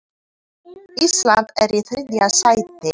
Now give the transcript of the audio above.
Ísland er í þriðja sæti.